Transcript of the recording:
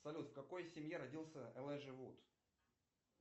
салют в какой семье родился элайджа вуд